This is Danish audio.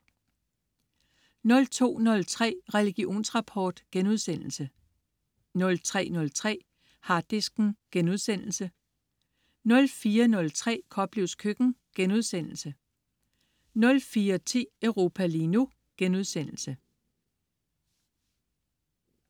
02.03 Religionsrapport* 03.03 Harddisken* 04.03 Koplevs køkken* 04.10 Europa lige nu*